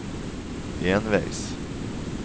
enveis